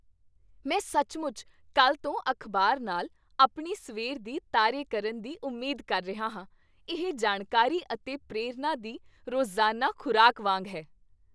ਮੈਂ ਸੱਚਮੁੱਚ ਕੱਲ੍ਹ ਤੋਂ ਅਖ਼ਬਾਰ ਨਾਲ ਆਪਣੀ ਸਵੇਰ ਦੀ ਤਾਰੇ ਕਰਨ ਦੀ ਉਮੀਦ ਕਰ ਰਿਹਾ ਹਾਂ। ਇਹ ਜਾਣਕਾਰੀ ਅਤੇ ਪ੍ਰੇਰਨਾ ਦੀ ਰੋਜ਼ਾਨਾ ਖ਼ੁਰਾਕ ਵਾਂਗ ਹੈ।